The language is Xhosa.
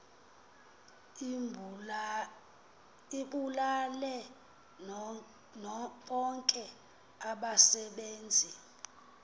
ibulale bonke abasebenzi